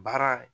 Baara